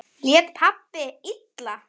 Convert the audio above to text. Lét pabbi illa?